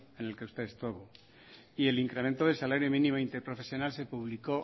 en el que usted estuvo y el incremento del salario mínimo interprofesional se publicó